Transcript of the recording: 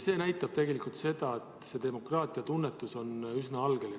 See näitab tegelikult seda, et demokraatiatunnetus on üsna algeline.